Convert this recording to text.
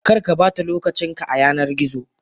Karkabata lokacin ka a yanar gizo.